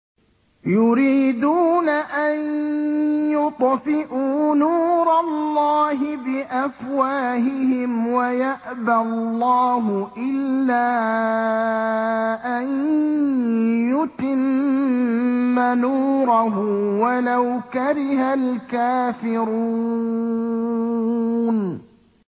يُرِيدُونَ أَن يُطْفِئُوا نُورَ اللَّهِ بِأَفْوَاهِهِمْ وَيَأْبَى اللَّهُ إِلَّا أَن يُتِمَّ نُورَهُ وَلَوْ كَرِهَ الْكَافِرُونَ